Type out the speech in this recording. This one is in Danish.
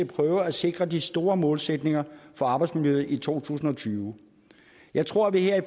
prøve at sikre de store målsætninger for arbejdsmiljøet i to tusind og tyve jeg tror at vi her i